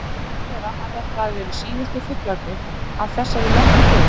Það má vera að þetta hafi verið síðustu fuglarnir af þessari merku tegund.